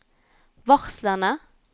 varslene